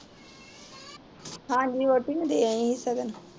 ਹਾਂਜੀ, ਵੋਟੀ ਨੂੰ ਦੇ ਆਈਂ ਆ ਸਗਨ